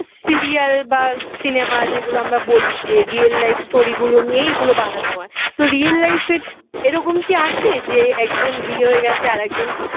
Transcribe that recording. serial বা cinema যেগুলো আমরা বলি যে real life story গুলো নিয়েই এগুলো বানানো তো real life এ এরকম কি আছে যে একজন বিয়ে হয়ে গেছে আরেকজন